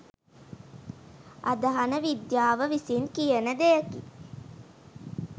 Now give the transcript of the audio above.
අදහන විද්‍යාව විසින් කියන දෙයකි.